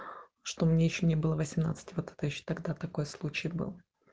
что мне ещё не было восемнадцати вот это ещё тогда такой случай был